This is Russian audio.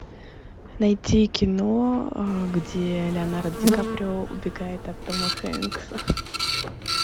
найти кино где леонардо ди каприо убегает от тома хэнкса